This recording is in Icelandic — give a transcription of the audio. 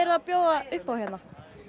að bjóða upp á hérna